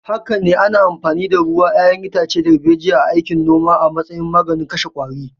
Haka ne, ana amfani da ruwan 'ya'yan itace darbejiya a aikin noma a matsayin magungunan kashe qwari.